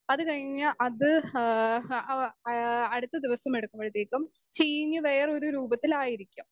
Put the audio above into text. speaker 2 അത് കഴിഞ്ഞ് അത് ഹാ ആ അടുത്ത ദിവസമെടുക്കുമ്പോഴത്തേയ്ക്കും ചീഞ്ഞ് വേറൊരു രൂപത്തിലായിരിക്കും